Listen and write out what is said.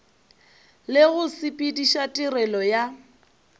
le go sepediša tirelo ya